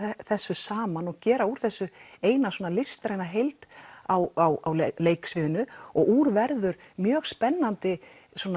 þessu saman og gera úr þessu eina listræna heild á leiksviðinu og úr verður mjög spennandi